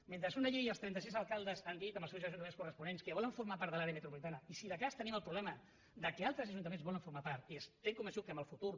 mentre en una llei els trenta sis alcaldes han dit amb els seus ajuntaments corresponents que volen formar part de l’àrea metropolitana i si de cas tenim el problema que altres ajuntaments volen formar ne part i estem convençuts que en el futur